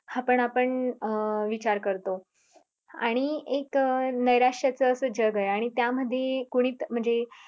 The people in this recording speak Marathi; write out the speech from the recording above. हा पण आपण अं विचार करतो आणि एक नैराश्यच अस जग आहे आणि त्यामध्ये कुणीत म्हणजे